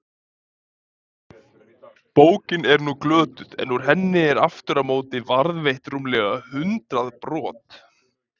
Bókin er nú glötuð en úr henni eru aftur á móti varðveitt rúmlega hundrað brot.